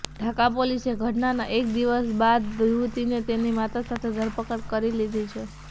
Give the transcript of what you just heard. ઢાકા પોલીસે ઘટનાના એક દિવસ બાદ યુવતીને તેની માતા સાથે ધરપકડ કરી લીધી છે